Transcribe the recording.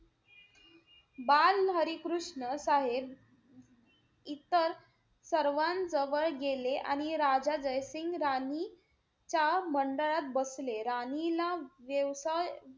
बाल हरी कृष्ण साहेब इतर सर्वांजवळ गेले. आणि राजा जय सिंग राणीच्या मंडळात बसले. राणीला